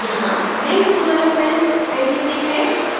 यहाँ link to the referenced entity है